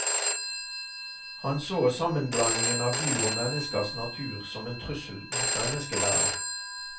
Han så sammenblandingen av dyr og menneskers natur som en trussel mot menneskeverdet.